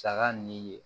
Saga ni ye